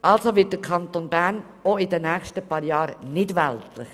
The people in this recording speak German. Also wird der Kanton Bern in den nächsten Jahren nicht weltlicher.